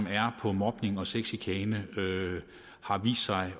er på mobning og sexchikane har vist sig at